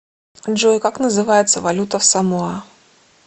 джой как называется валюта в самоа